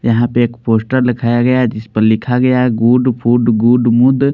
यहाँ पे एक पोस्टर लिखाया गया है जिस पर लिखा गया है गूड फूड गूड मूड --